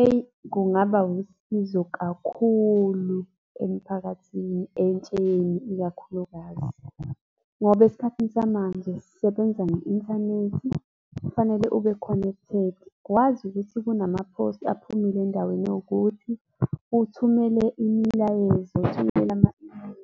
Eyi, kungaba wusizo kakhulu emphakathini, entsheni ikakhulukazi, ngoba esikhathini samanje sisebenza nge-inthanethi, kufanele ube connected, wazi ukuthi kukhona ama-post aphumile endaweni ewukuthi, uthumele imilayezo, uthumelele ama-Email,